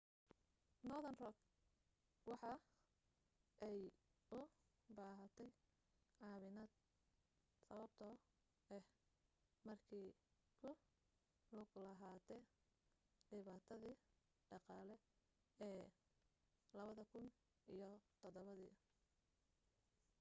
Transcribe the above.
northern rock waxa ay u baahatay caawinaad sababto ah markee ku lug lahaate dhibaatadii dhaqaale ee 2007